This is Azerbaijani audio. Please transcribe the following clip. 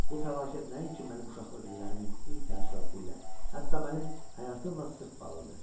Bu fəlakət nəinki mənim uşaqlıq illərimin ilk təəssüratı ilə, hətta mənim həyatımla sıx bağlıdır.